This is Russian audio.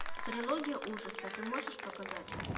трилогия ужаса ты можешь показать